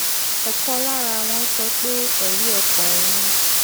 òkan lára wọn sọ pé èrí ọkàn òun